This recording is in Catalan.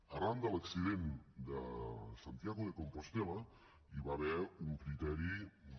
arran de l’accident de santiago de compostel·la hi va haver un criteri de